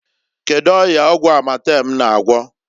Kedu ọya ọgwụ Amatem na-agwọ?